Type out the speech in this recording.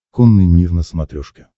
конный мир на смотрешке